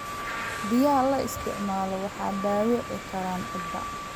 Biyaha la isticmaalo waxay dhaawici karaan ciidda.